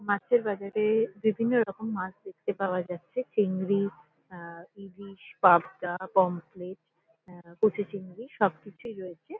মাছের বাজারে বিভিন্নরকম মাছ দেখতে পাওয়া যাচ্ছে। চিংড়ি আ ইলিশ পাবদা পামফ্লেট আ কুচ চিংড়ি সবকিছুই রয়েছে ।